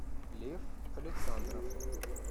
лев александров